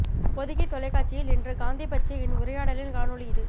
பொதிகை தொலைக்காட்சியில் இன்று காந்தி பற்றிய என் உரையாடலின் காணொளி இது